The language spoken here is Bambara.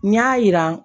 N y'a yira